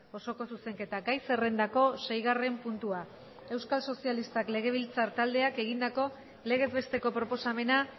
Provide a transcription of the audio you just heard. osoko zuzenketa gai zerrendako seigarren puntua euskal sozialistak legebiltzar taldeak egindako legez besteko proposamena